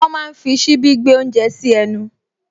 Wọ́n máa ń fi ṣíbí gbé oúnjẹ sí ẹnu